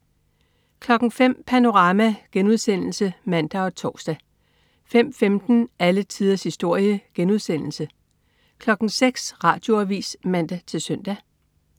05.00 Panorama* (man og tors) 05.15 Alle tiders historie* 06.00 Radioavis (man-søn)